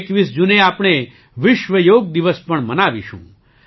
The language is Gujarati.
21 જૂને આપણે વિશ્વ યોગ દિવસ પણ મનાવીશું